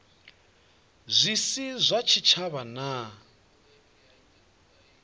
zwi si zwa tshitshavha na